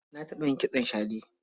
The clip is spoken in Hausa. Na taɓa yin kitson shade.